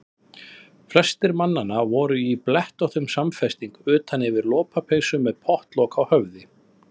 Flestir mannanna voru í blettóttum samfesting utan yfir lopapeysu og með pottlok á höfði.